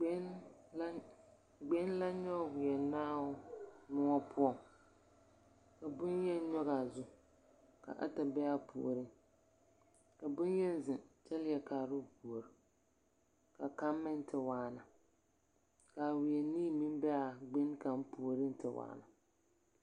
Gbeŋini la, gbeŋini la nyͻge wԑnaabo mõͻ poͻŋ. Ka boŋyeni nyͻge a zu, ka ata be a puoriŋ. Ka boŋyeni zeŋԑ kyԑ leԑ kaara ao puori. Ka kaŋ meŋ te waana. Ka a weԑ nii meŋ be a gbeŋini puoriŋ te waana.